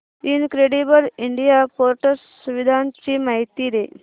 incredible India portal सुविधांची माहिती दे